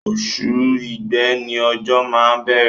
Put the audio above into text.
Oṣù igbe ni ojo má ń bẹ̀rẹ̀.